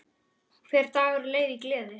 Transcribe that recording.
Hver dagur leið í gleði.